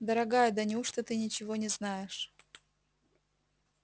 дорогая да неужто ты ничего не знаешь